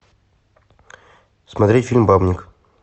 смотреть фильм бабник